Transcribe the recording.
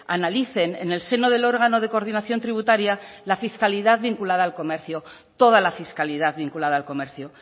analicen en el seno del órgano de coordinación tributaria la fiscalidad vinculada al comercio toda la fiscalidad vinculada al comercio